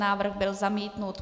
Návrh byl zamítnut.